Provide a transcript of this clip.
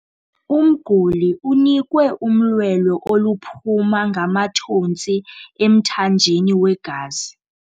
Umguli unikwe umlwelo oluphuma ngamathontsi emthanjeni wegazi.